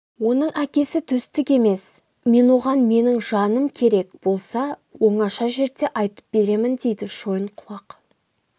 оның әкесі төстік емес мен оған менің жаным керек болса оңаша жерде айтып беремін дейді шойынқұлақ